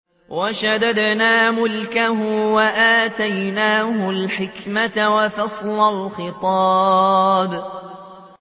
وَشَدَدْنَا مُلْكَهُ وَآتَيْنَاهُ الْحِكْمَةَ وَفَصْلَ الْخِطَابِ